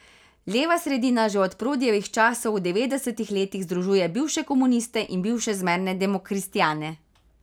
Leva sredina že od Prodijevih časov v devetdesetih letih združuje bivše komuniste in bivše zmerne demokristjane.